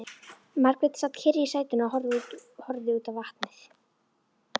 Margrét sat kyrr í sætinu og horfði út á vatnið.